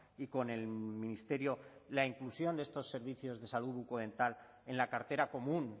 y con el ministerio la inclusión de estos servicios de salud bucodental en la cartera común